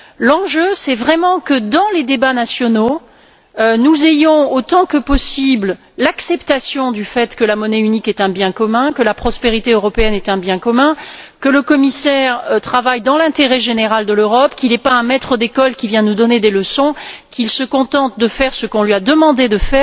L'enjeu véritable est d'inscrire dans les débats nationaux une acceptation aussi large que possible du fait que la monnaie unique est un bien commun, que la prospérité européenne est un bien commun, que le commissaire travaille dans l'intérêt général de l'Europe, qu'il n'est pas un maître d'école qui vient nous donner des leçons et qu'il se contente de faire ce qu'on lui a demandé de faire.